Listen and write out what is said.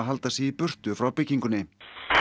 halda sig í burtu frá byggingunni